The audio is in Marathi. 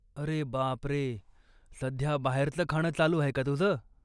अरे बापरे, सध्या बाहेरचं खाणं चालू आहे का तुझं?